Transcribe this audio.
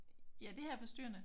Ja det her er forstyrrende?